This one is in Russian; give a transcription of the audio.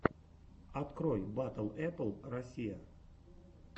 открой батл эппл россия